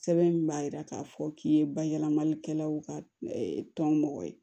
Sɛbɛn min b'a jira k'a fɔ k'i ye bayɛlɛmalikɛlaw ka tɔn mɔgɔ ye